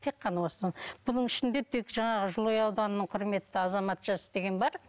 тек қана осының бұның ішінде тек жаңағы жылыой ауданының құрметті азаматшасы деген бар